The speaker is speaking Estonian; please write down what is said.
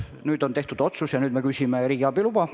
Nüüd on otsus tehtud ja me küsime riigiabi luba.